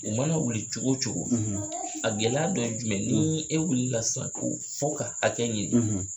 U mana wuli cogo cogo a gɛlɛya dɔ ye jumɛn ni e wulilal sisan ko fo ka hakɛ ɲini